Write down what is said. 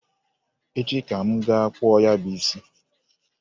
Echi ka m ga-akpụ ya bụ isi.